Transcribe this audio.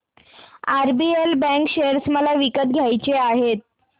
RBL bank share मला विकत घ्यायचे आहेत